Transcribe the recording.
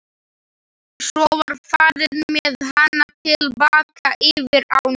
Svo var farið með hana til baka yfir ána.